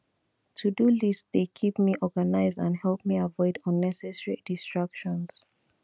todo list dey keep me organized and help me avoid unnecessary distractions